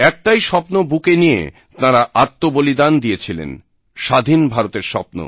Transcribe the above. একটাই স্বপ্ন বুকে নিয়ে তাঁরা আত্মবলিদান দিয়েছিলেন স্বাধীন ভারতের স্বপ্ন